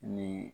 Ni